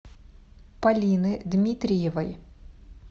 полины дмитриевой